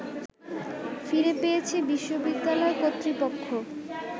ফিরে পেয়েছে বিশ্ববিদ্যালয় কর্তৃপক্ষ